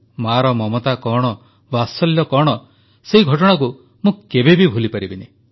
ମାଆର ମମତା କଣ ବାତ୍ସଲ୍ୟ କଣ ସେହି ଘଟଣାକୁ ମୁଁ କେବେ ଭୁଲିପାରିବି ନାହିଁ